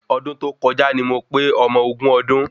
Ọdún tó kọjá ni mo pé ọmọ ogún ọdún